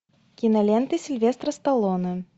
киноленты сильвестра сталлоне